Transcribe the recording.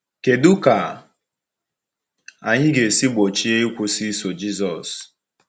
Kedu ka anyị ga-esi gbochie ịkwụsị iso Jisọs?